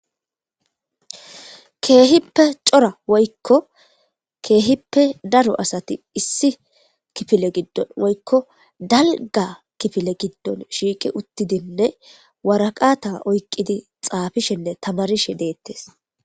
Keehippe cora woykko keehippe daro asati issi kifile giddon woykko dalga kifile giddon shiiqi uttidinne waraqata oyqqidi xaafishenne tamarishe deettes